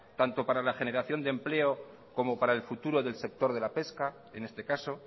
tanto como para la generación de empleo como para el futuro del sector de la pesca en este caso